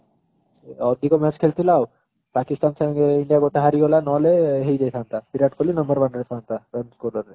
ଅଧିକ match ଖେଳିଥିଲା ଆଉ ପାକିସ୍ଥାନ ସଙ୍ଗେ india ଗୋଟେ ହରିଗଲା ନ ହେଲେ ହେଇଯାଇଥାନ୍ତା ବିରାଟ କୋହଲି number one ରେ ଥାନ୍ତା run score ରେ